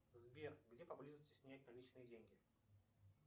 сбер где поблизости снять наличные деньги